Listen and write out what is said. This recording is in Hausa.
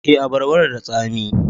Eh, abarban da tsami